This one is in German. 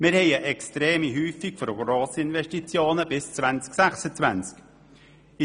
Wir haben eine extreme Häufung von Grossinvestitionen bis zum Jahr 2026.